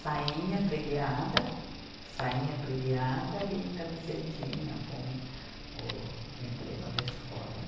sainha pregueada, sainha pregueada e camisetinha com o emblema da escola.